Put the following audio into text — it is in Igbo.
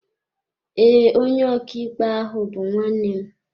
Ee, onye ọkàikpe ahụ bú nwannem